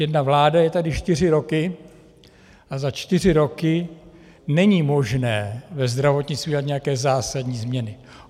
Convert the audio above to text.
Jedna vláda je tady čtyři roky a za čtyři roky není možné ve zdravotnictví udělat nějaké zásadní změny.